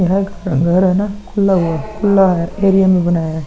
घर है न खुला है खुला हुआ है एरिया में बनाया है |